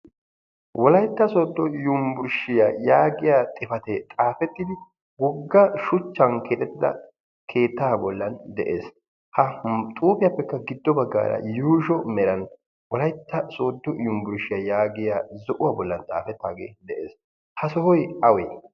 Wolaytta sodo yunburshshiya yaagiya xifaate xaafetidi wogga shuchchan keexettida keettaa bollan de'ees. Ha him topiapeka gido baggaara yuusho meran wolaytta sodo yunburshshiyaa yaagiya zo'uwaa bollan xaafetage de'ees. Ha sohoy awee?